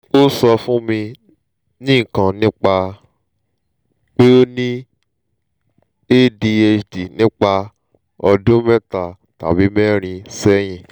o sọ fun mi nikan nipa pe o ni adhd nipa ọdun meeta tabi meerin sẹhin